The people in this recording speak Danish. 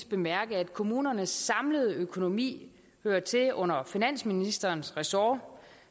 bemærke at kommunernes samlede økonomi hører til under finansministerens ressort